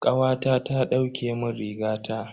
Kawata ta dauke mun rigata.